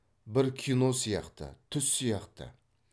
бір кино сияқты түс сияқты